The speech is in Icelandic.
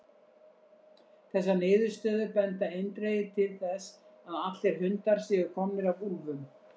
Þessar niðurstöður benda eindregið til þess að allir hundar séu komnir af úlfum.